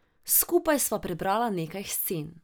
Skupaj sva prebrala nekaj scen.